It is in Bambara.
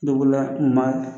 Moto bolila ma